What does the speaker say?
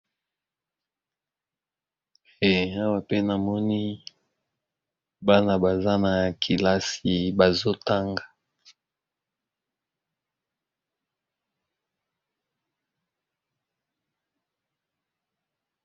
Awa pe namoni bana baza na kelasi bazotanga.